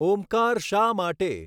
ઓમકાર શા માટે?